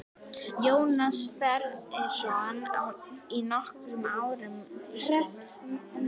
Jónas ferðaðist í nokkur ár um Ísland.